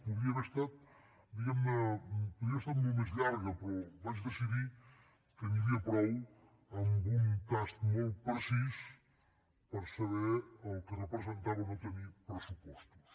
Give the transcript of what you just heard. podria haver estat molt més llarga però vaig decidir que n’hi havia prou amb un tast molt precís per saber el que representava no tenir pressupostos